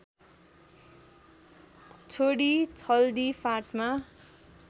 छोडि छल्दी फाँटमा